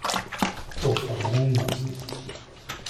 To so neumnosti.